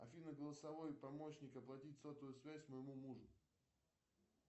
афина голосовой помощник оплатить сотовую связь моему мужу